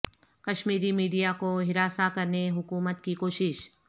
کشمیر ی میڈیا کو ہراساں کرنے حکومت کی کوشش